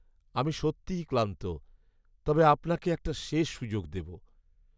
আমি সত্যি ক্লান্ত, তবে আপনাকে একটা শেষ সুযোগ দেব।